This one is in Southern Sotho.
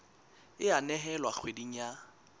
e a nehelwa kgweding ya